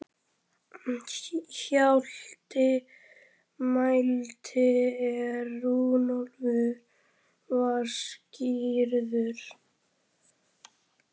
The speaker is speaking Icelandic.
Hjalti mælti er Runólfur var skírður